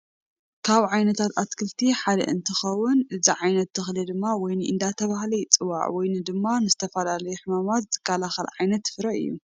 ካብ ዓይነታት ኣትክልቲ ሓ እንትከውን እዚ ዓይነት ተክሊ ድማ ወይኒ እንዳተባሃለ ይፅዋዕ። ወይኒ ድማ ንዝተፈላለዩ ሕማማት ዝከላከል ዓይነት ፈረ እዩ።